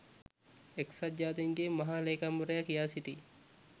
එක්සත් ජාතීන්ගේ මහ ‍ලේකම්වරයා කියා සිටී